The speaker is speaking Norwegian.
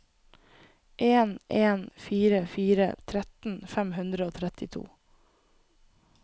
en en fire fire tretten fem hundre og trettito